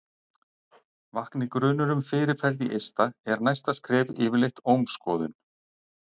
vakni grunur um fyrirferð í eista er næsta skref yfirleitt ómskoðun